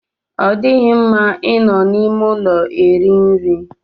Ọ dịghị mma I nọ n'ime ụlọ eri nri.